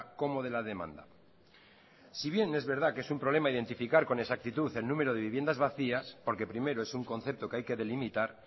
como de la demanda si bien es verdad que es un problema identificar con exactitud el número de viviendas vacías porque primero es un concepto que hay que delimitar